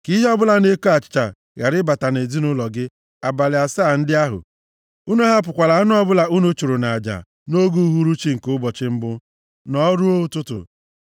Ka ihe ọbụla na-eko achịcha ghara ịbata nʼezinaụlọ gị abalị asaa ndị ahụ. Unu ahapụkwala anụ ọbụla unu chụrụ nʼaja nʼoge uhuruchi nke ụbọchị mbụ, nọọ ruo ụtụtụ.